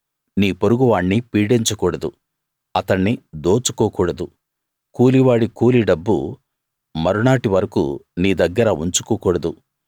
నీ పొరుగు వాణ్ణి పీడించకూడదు అతణ్ణి దోచుకోకూడదు కూలివాడి కూలీ డబ్బు మరునాటి వరకూ నీ దగ్గర ఉంచుకోకూడదు